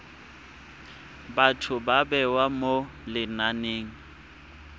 batho ba bewa mo lenaneng